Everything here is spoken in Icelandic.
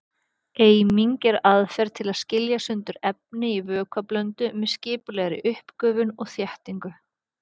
Eiming er aðferð til að skilja sundur efni í vökvablöndu með skipulegri uppgufun og þéttingu.